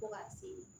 Fo ka se